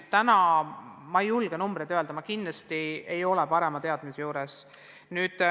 Täna ma ei julge täpseid numbreid öelda, mul kindlasti ei ole seda teadmist.